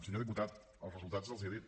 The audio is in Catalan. senyor diputat els resultats els hi he dit